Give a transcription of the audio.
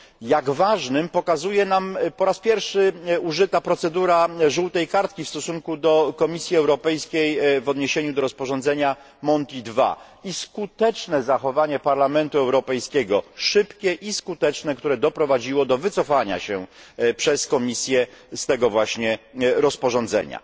Jak ważnym, pokazuje nam po raz pierwszy użyta procedura żółtej kartki w stosunku do Komisji Europejskiej w odniesieniu do rozporządzenia Monti II, a także zachowanie Parlamentu Europejskiego szybkie i skuteczne które doprowadziło do wycofania się przez Komisję z tego właśnie rozporządzenia.